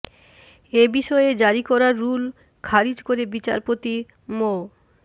এ বিষয়ে জারি করা রুল খারিজ করে বিচারপতি মো